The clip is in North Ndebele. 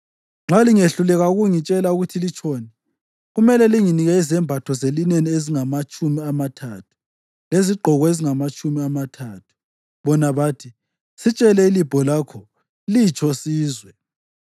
Nxa lingehluleka ukungitshela ukuthi litshoni, kumele linginike izembatho zelineni ezingamatshumi amathathu lezigqoko ezingamatshumi amathathu.” Bona bathi, “Sitshele ilibho lakho. Litsho silizwe.”